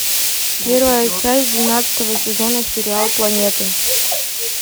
первая часть двенадцатого сезона сериала планеты